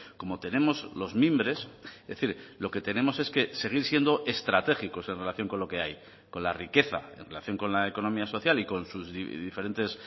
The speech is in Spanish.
como tenemos los mimbres es decir lo que tenemos es que seguir siendo estratégicos en relación con lo que hay con la riqueza en relación con la economía social y con sus diferentes